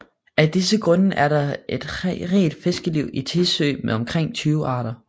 Af disse grunde er der et rigt fiskeliv i Tissø med omkring 20 arter